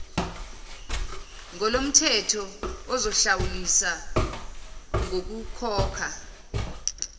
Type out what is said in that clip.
ngolomthetho uzohlawuliswa ngokukhokha